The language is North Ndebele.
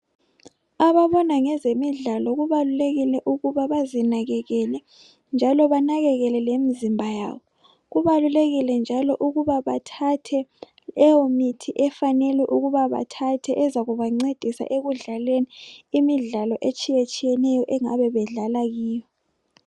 Ababona ngezemidlalo kubalukekile ukuba bazinakekele njalo banakekele lemizimba yabo kubalulekile njalo ukuba bathathe leyo mithi efanelwe ukuba bathathe ezakubancedise ekudlaleni imidlalo etshiyatshiyeneyo engabe bedlala kiyo.